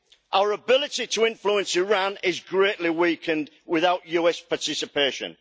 Our ability to influence Iran is greatly weakened without US participation.